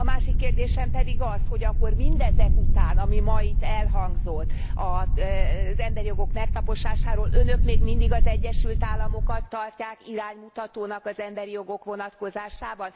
A másik kérdésem pedig az, hogy akkor mindezek után, ami ma itt elhangzott az emberi jogok megtaposásáról, Önök még mindig az Egyesült Államokat tartják iránymutatónak az emberi jogok vonatkozásában?